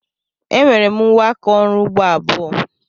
Enwere m uwe aka ọrụ ugbo abụọ.